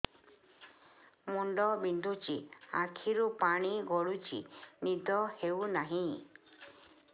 ମୁଣ୍ଡ ବିନ୍ଧୁଛି ଆଖିରୁ ପାଣି ଗଡୁଛି ନିଦ ହେଉନାହିଁ